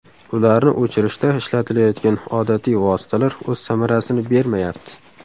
Ularni o‘chirishda ishlatilayotgan odatiy vositalar o‘z samarasini bermayapti.